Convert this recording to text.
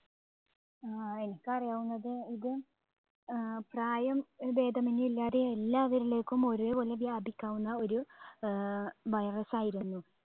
ആഹ് എനിക്കറിയാവുന്നത് ഇത് ഏർ പ്രായം ഭേദമന്യേ എല്ലാവരിലേക്കും ഒരേപോലെ വ്യാപിക്കാവുന്ന ഒരു ഏർ virus ആയിരുന്നു.